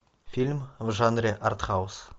фильм в жанре артхаус